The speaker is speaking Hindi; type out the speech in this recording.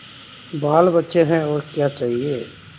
बालबच्चे हैं और क्या चाहिए